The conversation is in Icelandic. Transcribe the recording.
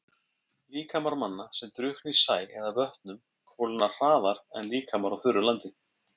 Líkamar manna, sem drukkna í sæ eða vötnum kólna hraðar en líkamar á þurru landi.